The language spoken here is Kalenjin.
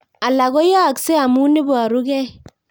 Alak koyaakse ama iparug'ei